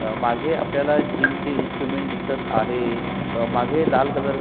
मागे आपल्याला जिमचे इन्स्ट्रुमेंट दिसत आहे अ मागे लाल कलर --